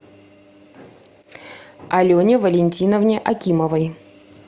алене валентиновне акимовой